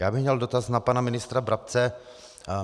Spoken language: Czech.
Já bych měl dotaz na pana ministra Brabce.